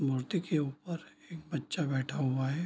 मूर्ति के ऊपर एक बच्चा बैठा हुआ है।